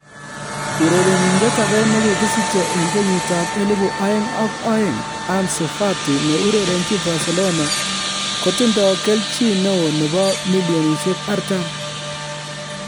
Urerenindet age ne kigisiche en 2002, Ansu Fati ne urerenchin Barecelona kotindo kelchin neo nebo �40M